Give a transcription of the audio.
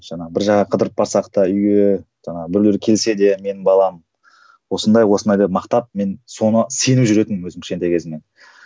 жаңағы бір жаққа қыдырып барсақ та үйге жаңағы біреулер келсе де менің балам осындай осындай деп мақтап мен соны сеніп жүретінмін өзім кішкентай кезімнен